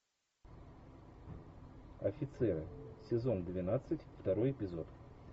офицеры сезон двенадцать второй эпизод